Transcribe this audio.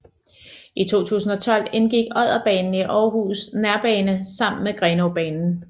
I 2012 indgik Odderbanen i Aarhus Nærbane sammen med Grenaabanen